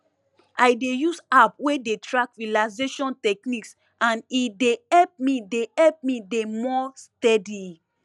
i dey use app wey dey track relaxation techniques and e dey help me dey help me dey more steady